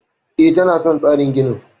E, tana son tsarin ginin.